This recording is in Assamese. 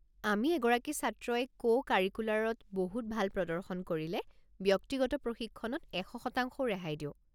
আমি এগৰাকী ছাত্ৰই কো-কাৰিকুলাৰত বহুত ভাল প্ৰদৰ্শন কৰিলে ব্যক্তিগত প্ৰশিক্ষণত এশ শতাংশও ৰেহাই দিওঁ।